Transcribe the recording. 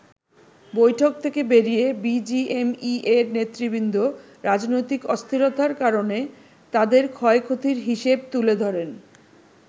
বৈঠক থেকে বেরিয়ে বিজিএমইএ’র নেতৃবৃন্দ রাজনৈতিক অস্থিরতার কারণে তাদের ক্ষয়-ক্ষতির হিসেব তুলে ধরেন।